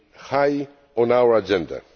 high on our agenda.